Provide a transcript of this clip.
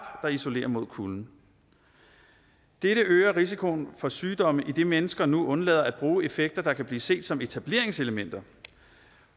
der isolerer mod kulden dette øger risikoen for sygdomme idet mennesker nu undlader at bruge effekter der kan blive set som etableringselementer